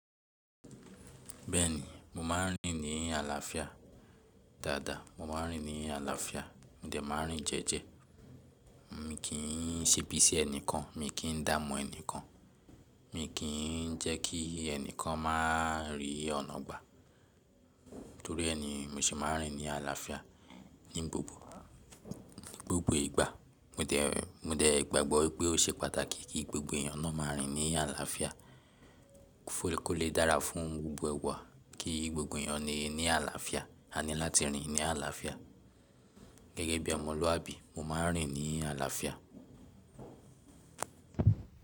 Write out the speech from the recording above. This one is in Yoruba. Bẹ́ẹ̀ni, mo máa ń rìn ní àlàáfíà. Dáadáa, mo máa ń rìn ní àlàáfíà, mo dẹ̀ máa ń rìn jẹ́ẹ́jẹ́. Mi kì í ṣebì sí ẹnìkan, mi kì í dáa mu ẹnìkan, mi kì í jẹ́ kí ẹnìkan máa rí ọ̀nà gbà. Torí ẹ ni, mo se máa ń rìn ní àlàáfíà ní gbogbo, gbogbo ìgbà. Mo dẹ̀, mo dẹ̀ gbàgbọ́ wípé ó ṣe pàtàkì kí gbogbo èeyàn náà máa rìn ní àlàáfíà. Kó lè dára fún gbogbo wa kí gbogbo èeyàn le ní àlàáfíà, a ní láti rìn ní àlàáfíà. Gẹ́gẹ́ bí ọmọlúwàbí, mo máa ń rìn ní àlàáfíà.